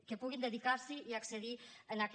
que puguin dedicar s’hi i accedir en aquest